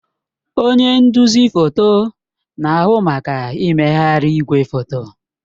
Onye nduzi foto na-ahụ maka mmegharị igwefoto.